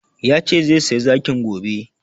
Yace zai saya zakin gobe